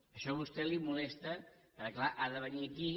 això a vostè li molesta perquè clar ha de venir aquí